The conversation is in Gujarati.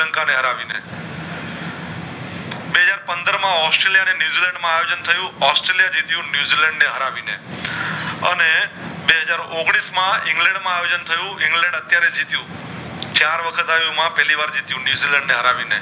પંદર માં ઑસ્ટ્રેલિયા અને ન્યૂઝીલેન્ડ માં અયોજન થયું ઑસ્ટ્રેલિયા જીત્યું ન્યૂઝીલેન્ડ ને હરાવી ને અને બે હાજર ઔગણીશ માં ઇંગ્લેન્ડ માં આયોજનથયું ઇંગ્લેન્ડ અત્યરે જીત્યું ચાર વખત હારીયુ પેલી વાર જીત્યું ન્યૂઝીલેન્ડ ને હરાવી ને